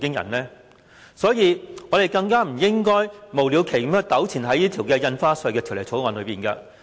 有見及此，我們更加不應該無了期糾纏於《條例草案》。